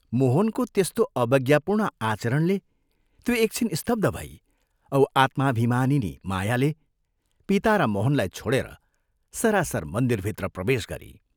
मोहनको त्यस्तो अवज्ञापूर्ण आचरणले त्यो एक छिन स्तब्ध भई औ आत्माभिमानिनी मायाले पिता र मोहनलाई छोडेर सरासर मन्दिरभित्र प्रवेश गरी।